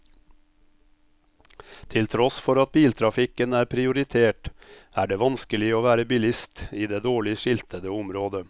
Til tross for at biltrafikken er prioritert, er det vanskelig å være bilist i det dårlig skiltede området.